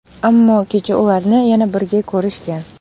Ammo kecha ularni yana birga ko‘rishgan.